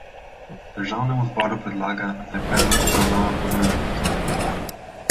Državnemu zboru predlaga, naj predlog obravnava po nujnem postopku.